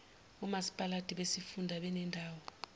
omasipalati besifunda nebendawo